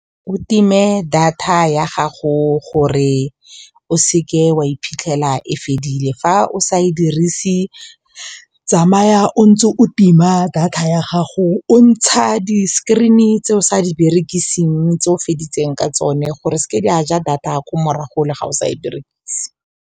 O time data ya gago gore o seke wa iphitlhela e fedile, fa o sa e dirise tsamaya o ntse o tima data ya gago o ntsha di-screen tse o sa di berekiseng tse o feditseng ka tsone gore seke ja data ya kwa morago le ga o sa e berekise.